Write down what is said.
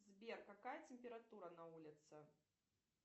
сбер какая температура на улице